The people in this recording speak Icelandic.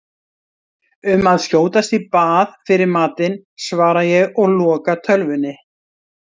Um að skjótast í bað fyrir matinn, svara ég og loka tölvunni.